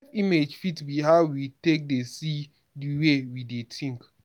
self image fit be how we take dey see di wey we dey think